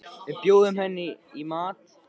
Við bjóðum henni ekki heim í mat.